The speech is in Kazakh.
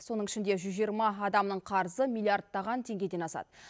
соның ішінде жүз жиырма адамның қарызы миллиардтаған теңгеден асады